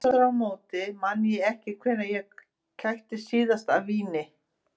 Að fara vel sofinn, saddur og einbeittur í prófið eykur líkur á velgengni.